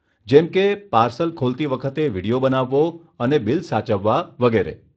જેમકે પાર્સલ ખોલતી વખતે વિડીયો બનાવવો અને બિલ સાચવવા વગેરે.